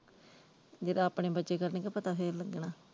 ਜਦੋਂ ਆਪਣੇ ਬੱਚੇ ਕਰਨਗੇ ਪਤਾ ਫਿਰ ਲੱਗਣਾ।